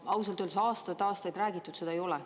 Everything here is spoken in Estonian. No ausalt öeldes aastaid-aastaid räägitud, seda ei ole.